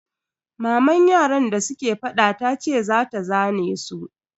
Maman yaran da suke fada tace za ta zane su.